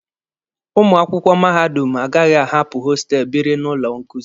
Ụmụ akwụkwọ mahadum agaghị ahapụ hostelụ biri na ụlọ nkuzi.